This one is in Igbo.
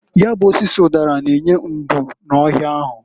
Ya bụ osisi ụdara n'enye ndo n'ohịa ahụ.